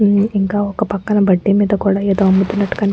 ఇంకా ఒక్క పక్కన బడ్డి మీద కూడా ఏదో అమ్ముతున్నటు కని --